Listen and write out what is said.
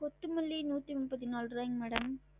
கொத்தமல்லி நூத்தி முப்பத்தி நாலு ருவாய்ங்க madam